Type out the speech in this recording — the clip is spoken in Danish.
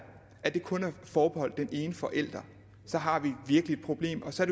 kun er forbeholdt den ene forælder så har vi virkelig et problem og så